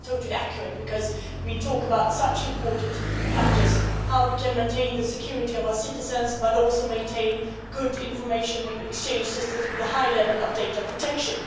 That is totally accurate because we talk about such important matters as how we can maintain the security of our citizens but also maintain good information and exchange systems with a high level of data protection.